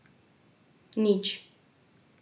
Nič.